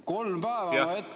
Kolm päeva on vaja ette ...